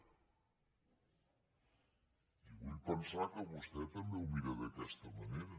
i vull pensar que vostè també ho mira d’aquesta manera